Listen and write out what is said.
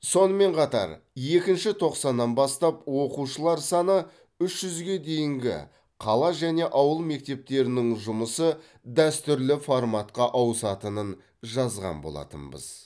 сонымен қатар екінші тоқсаннан бастап оқушылар саны үш жүзге дейінгі қала және ауыл мектептерінің жұмысы дәстүрлі форматқа ауысатынын жазған болатынбыз